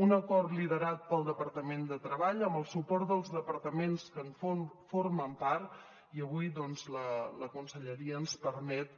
un acord liderat pel departament de treball amb el suport dels departaments que en formen part i avui doncs la conselleria ens permet